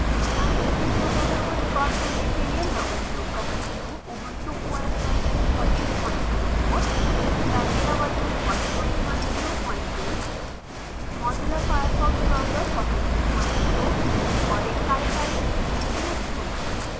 इस ट्यूटोरियल को रेकॉर्ड करने के लिए मैं उपयोग कर रही हूँ ubuntu os version 1404 chimera version 1102 mozilla firefox browser 420 और एक कारकरी इन्टरनेट कनेक्शन